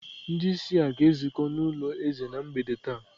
Ndị isi a ga-ezukọ n'ụlọ eze na mgbede taa?